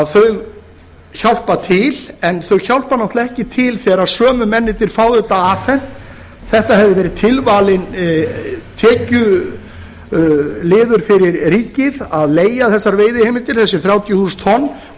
þau hjálpa til en þau hjálpa náttúrlega ekki til þegar sömu mennirnir fá þetta afhent þetta hefði verið tilvalinn tekjuliður fyrir ríkið að leigja þessar veiðiheimildir þessi þrjátíu þúsund tonn